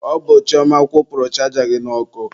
Ọ bụ Chioma kwụpurụ chaja gị n'ọkụ.